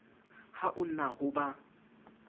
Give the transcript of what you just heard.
ha o na ho ba